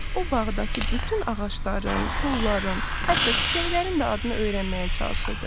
O bağdakı bütün ağacların, kolların, hətta çiçəklərin də adını öyrənməyə çalışırdı.